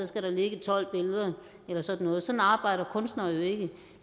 skal ligge tolv billeder eller sådan noget sådan arbejder kunstnere jo ikke